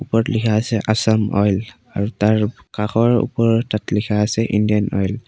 ওপৰত লিখা আছে আছাম অইল আৰু তাৰ কাষৰ ওপৰত তাত লিখা আছে ইণ্ডিয়ান অইল ।